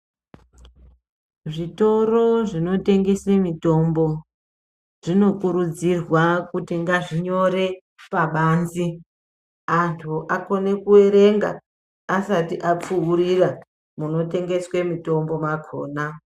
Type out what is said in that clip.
Zvitoro zvinotengese mitombo zvinokurudzirwa kuti ngazvinyore pabanze antu akone kuerenga asati apfuurira munotengeswe mitombo makona.